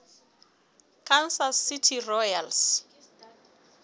kansas city royals